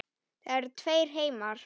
Það eru tveir heimar.